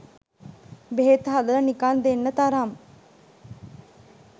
බෙහෙත් හදල නිකන් දෙන්න තරම්